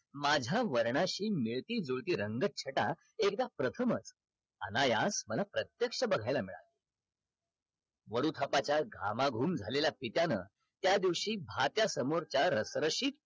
माझ्या वर्णाशी मिळती जुळती रंगछटा एकदा प्रथमच अनायास मला प्रत्यक्ष बघायला मिळाल वरुखपाच्या घामाघूम झालेल्या पित्यान त्या दिवशी भात्य समोरच्या रसरशीत